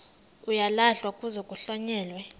uyalahlwa kuze kuhlonyelwe